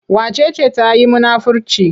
Wace ce ta yi munafirci?